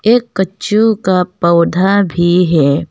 ये कच्चू का पौधा भी है।